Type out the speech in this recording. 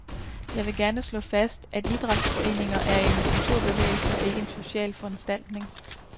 Jeg vil gerne slå fast, at idrætsforeningen er en kulturbevægelse og ikke en social foranstaltning.